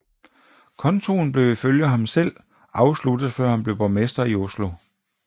Kontoen blev ifølge ham selv afsluttet før han blev borgmester i Oslo